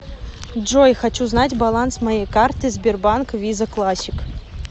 джой хочу знать баланс моей карты сбербанк виза классик